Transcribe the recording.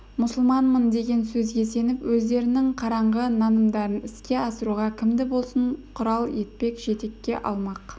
мұсылманмын деген сөзге сүйеніп өздерінің қараңғы нанымдарын іске асыруға кімді болсын құрал етпек жетекке алмақ